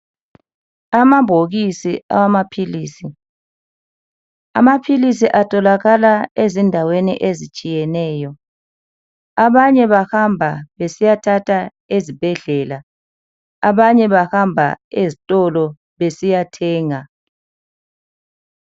Amabhokisi awamaphilisi, amaphilisi etholakala ezindaweni ezitshiyeneyo, abanye bahamba besiya thatha ezibhedlela, abanye bahamba ezitolo besiya thenga